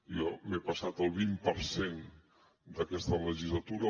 jo m’he passat el vint per cent d’aquesta legislatura